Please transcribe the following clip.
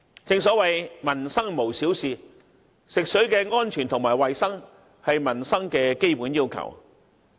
正所謂"民生無小事"，食水安全及衞生是民生的基本要求。